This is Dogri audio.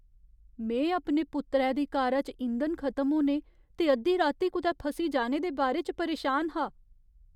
में अपने पुत्तरै दी कारा च इंधन खतम होने ते अद्धी राती कुतै फसी जाने दे बारे च परेशान हा।